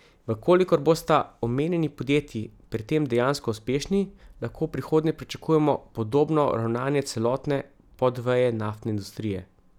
V kolikor bosta omenjeni podjetji pri tem dejansko uspešni, lahko v prihodnje pričakujemo podobno ravnanje celotne podveje naftne industrije.